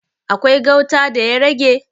Akwai gauta da ya rage?